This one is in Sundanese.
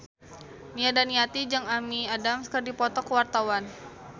Nia Daniati jeung Amy Adams keur dipoto ku wartawan